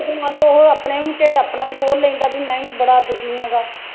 ਤੇ ਮੰਨ ਲਉ ਉਹ ਆਪਣਾ ਵੀ ਢਿੱਡ ਆਪਣਾ ਵੀ ਖੋਲ੍ਹ ਲੈਂਦਾ ਬਈ ਮੈਂ ਵੀ ਬੜਾ ਦੁਖੀ ਹੈਂਗਾ